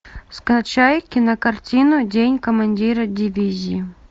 скачай кинокартину день командира дивизии